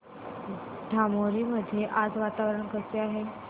धामोरी मध्ये आज वातावरण कसे आहे